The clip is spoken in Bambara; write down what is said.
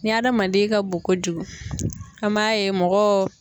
Ni adamaden ka bon kojugu an m'a ye mɔgɔ